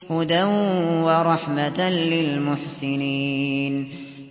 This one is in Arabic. هُدًى وَرَحْمَةً لِّلْمُحْسِنِينَ